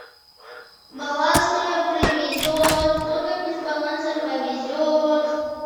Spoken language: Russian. баланс мне привезет ой как мне с балансом повезет